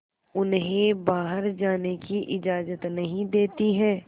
उन्हें बाहर जाने की इजाज़त नहीं देती है